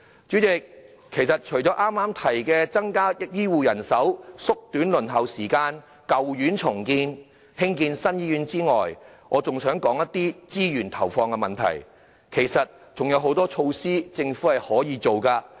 主席，其實除剛剛提到的增加醫護人手、縮短輪候時間、現有醫院重建、興建新醫院外，我還想說資源投放的問題，其實政府仍可以實行很多措施。